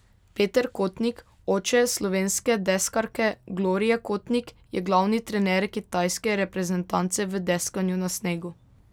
Peter Kotnik, oče slovenske deskarke Glorie Kotnik, je glavni trener kitajske reprezentance v deskanju na snegu.